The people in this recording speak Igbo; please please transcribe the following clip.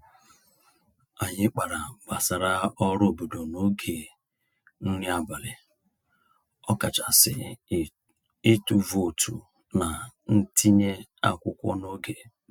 Anyị kpara gbasara ọrụ obodo n'oge nri abalị, ọkachasị ịtụ vootu na ntinye akwụkwọ n'oge.